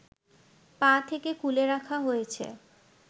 পা থেকে খুলে রাখা হয়েছে